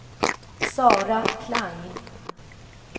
Sara Klang